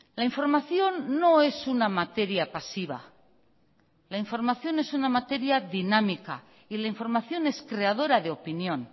la información no es una materia pasiva la información es una materia dinámica y la información es creadora de opinión